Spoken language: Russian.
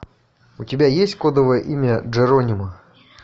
у тебя есть кодовое имя джеронимо